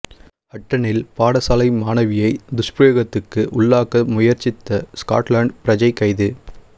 ஹட்டனில் பாடசாலை மாணவியை துஷ்பிரயோகத்துக்கு உள்ளாக்க முயற்சித்த ஸ்கொட்லாந்து பிரஜை கைது